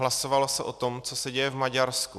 Hlasovalo se o tom, co se děje v Maďarsku.